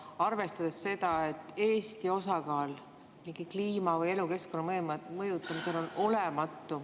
arvestada seda, et Eesti osakaal kliima või elukeskkonna mõjutamisel on olematu.